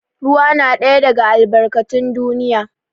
Ruwa na ɗaya daga albarkatun duniya.